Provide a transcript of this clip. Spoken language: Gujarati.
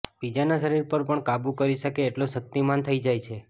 બીજાના શરીર પર પણ કાબૂ કરી શકે એટલો શક્તિમાન થઇ જાય છે